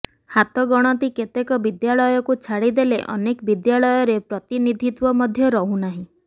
ହାତଗଣତି କେତେକ ବିଦ୍ୟାଳୟକୁ ଛାଡ଼ିଦେଲେ ଅନେକ ବିଦ୍ୟାଳୟରେ ପ୍ରତିନିଧିତ୍ୱ ମଧ୍ୟ ରହୁନାହିଁ